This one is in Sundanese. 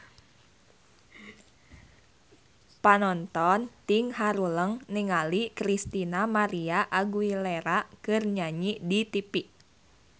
Panonton ting haruleng ningali Christina María Aguilera keur nyanyi di tipi